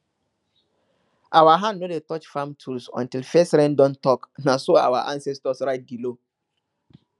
our hand no dey touch farm tool until first rain don talk na so our ancestors write di law